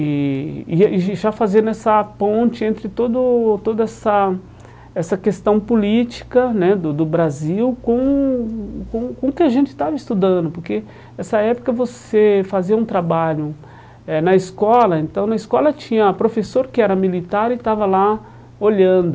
E e e já fazendo essa ponte entre todo toda essa essa questão política né do do Brasil com com o que a gente estava estudando, porque nessa época você fazia um trabalho eh na escola, então na escola tinha professor que era militar e estava lá olhando